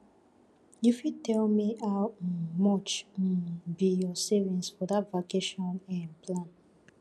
you fit tell me how um much um be your savings for that vacation um plan